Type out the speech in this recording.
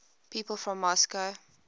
people from moscow